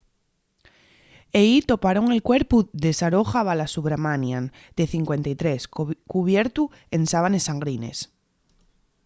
ehí toparon el cuerpu de saroja balasubramanian de 53 cubiertu en sábanes sangrines